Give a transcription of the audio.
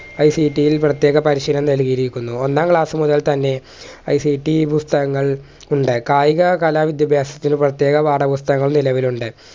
ICT യിൽ പ്രേത്യേക പരിശീലനം നൽകിയിരിക്കുന്നു ഒന്നാം class മുതൽ തന്നെ ICT പുസ്തകങ്ങൾ ഉണ്ട് കായിക കല വിദ്യഭ്യാസത്തിന്‌ പ്രേത്യേക പാഠപുസ്തകങ്ങൾ നിലവിലുണ്ട്